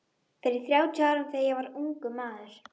Fyrir þrjátíu árum þegar ég var ungur maður.